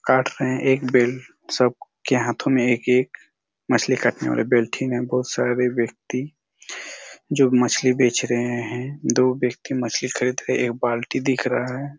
काट रहे है एक बेल्ट सबके हाथो में एक-एक मछली काटने वाले बेल्ट ही ना बहुत सारे व्यक्ति जो मछली बेच रहे है दो व्यक्ति मछली खरीद रहे है एक बाल्टी दिख रहा है।